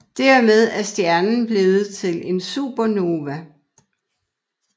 Dermed er stjernen blevet til en Supernova